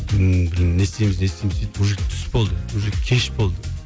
ммм блин блин не істейміз не істейміз сөйтіп уже түс болды уже кеш болды